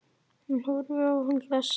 Hún horfir á hann hlessa.